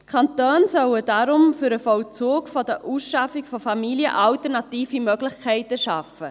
Die Kantone sollen deshalb alternative Möglichkeiten für den Vollzug von Ausschaffungen von Familien schaffen.